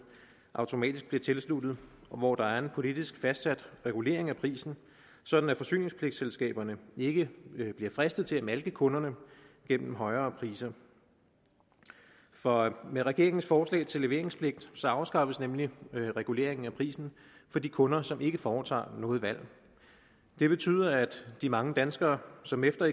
automatisk bliver tilsluttet og hvor der er en politisk fastsat regulering af prisen sådan at forsyningspligtselskaberne ikke bliver fristet til at malke kunderne gennem højere priser for med regeringens forslag til leveringspligt afskaffes nemlig reguleringen af prisen for de kunder som ikke foretager noget valg det betyder at de mange danskere som efter